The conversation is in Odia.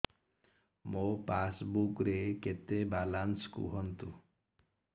ମୋ ପାସବୁକ୍ ରେ କେତେ ବାଲାନ୍ସ କୁହନ୍ତୁ